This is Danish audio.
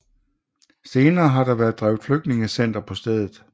Senere har der været drevet flygtningecenter på stedet